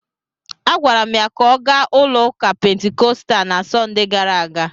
Agwara m ya ka ọ gaa ụlọụka Pentikọstal na Sọnde gara aga!